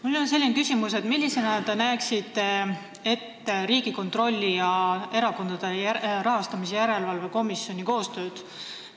Mul on selline küsimus: millisena te näeksite Riigikontrolli ja Erakondade Rahastamise Järelevalve Komisjoni koostööd?